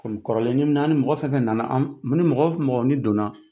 Kulu kɔrɔlen naani mɔgɔ fɛn o fɛn nana, anw mun mɔgɔ o mɔgɔ ni donna